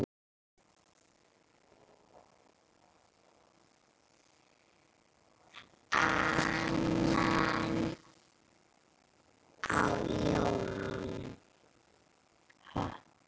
Annan í jólum.